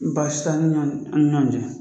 Basi t'an ni ɲɔn, an ni ɲɔn cɛ.